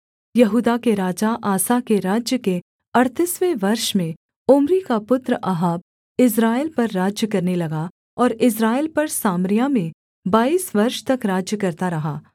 यहूदा के राजा आसा के राज्य के अड़तीसवें वर्ष में ओम्री का पुत्र अहाब इस्राएल पर राज्य करने लगा और इस्राएल पर सामरिया में बाईस वर्ष तक राज्य करता रहा